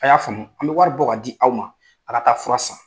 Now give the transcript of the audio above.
A y'a faamu an bɛ wari bɔ k'a di aw ma a ka taa fura san.